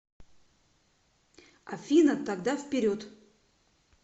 афина тогда вперед